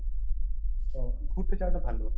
তো ঘুরতে যাওয়া টা ভালো।